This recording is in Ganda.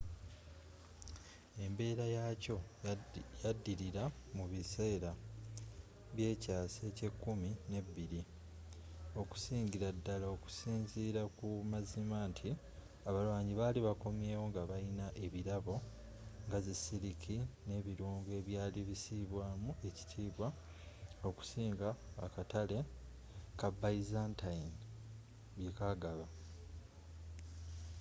embeera yaakyo yadilira mu biseera by'ekyaasa eky'ekumi nebiri okusingila ddala okusinzira ku mazima nti abalwanyi bali bakomyewo nga balina ebirabo nga zi siliki n'ebirungo ebyali bisibwaamu ekitiibwa okusinga akatale ka byzantine byekagaba